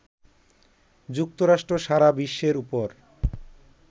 যুক্তরাষ্ট্র সারা বিশ্বের ওপর